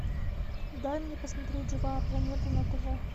дай мне посмотреть живая планета на тв